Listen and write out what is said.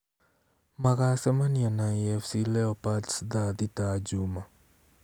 Magacemania na AFC leopards thaa thita Juma